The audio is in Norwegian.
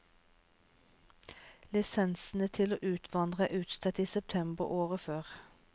Lisensene til å utvandre er utstedt i september året før.